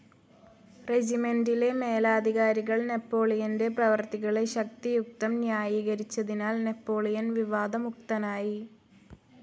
റെജിമൻ്റിലെ മേലധികാരികൾ നെപ്പോളിയൻ്റെ പ്രവർത്തികളെ ശക്തിയുക്തം ന്യായീകരിച്ചതിനാൽ നാപ്പോളിയൻ വിവാദമുക്തനായി.